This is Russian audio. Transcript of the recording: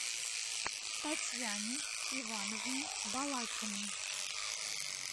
татьяне ивановне балакиной